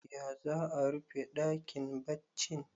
ya za a rufe dakin baccin